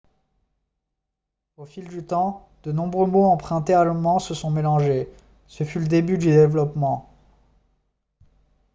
au fil du temps de nombreux mots empruntés à l'allemand se sont mélangés ce fut le début du développement